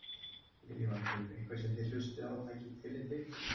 Lillý Valgerður: Eitthvað sem þið hlustið á og takið tillit ykkar?